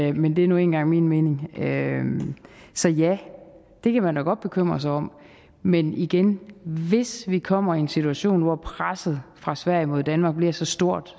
i men det er nu engang min mening så ja det kan man da godt bekymre sig om men igen hvis vi kommer i en situation hvor presset fra sverige mod danmark bliver så stort